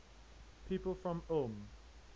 people from ulm